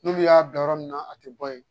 N'olu y'a bila yɔrɔ min na a tɛ bɔ ye